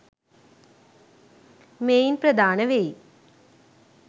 මෙයින් ප්‍රධාන වෙයි.